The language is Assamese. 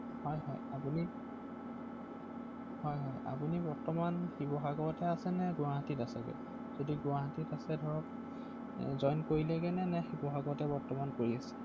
গতিকে এবাৰ ভালদৰে বুজাই মেলি দিয়কচোন ৷অ হয়